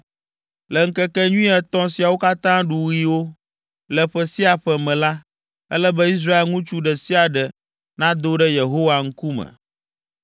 “Le ŋkekenyui etɔ̃ siawo katã ɖuɣiwo, le ƒe sia ƒe me la, ele be Israel ŋutsu ɖe sia ɖe nado ɖe Yehowa ŋkume.